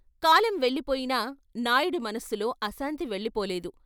కాలం వెళ్ళిపోయినా నాయుడి మనస్సులో ఆశాంతి వెళ్ళిపోలేదు.